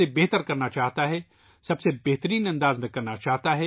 بہترین کرنا چاہتا ہے ، بہترین طریقے سے کرنا چاہتا ہے